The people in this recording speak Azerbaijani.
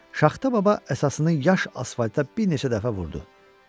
Şaxta baba əsasını yaş asfalta bir neçə dəfə vurdu.